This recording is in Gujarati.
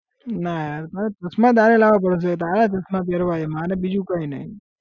ના યાર મારા ચશ્માં તારે લાવવા પડશે તારા ચશ્માં પહેરવા છે મારે બીજું કઈ નઈ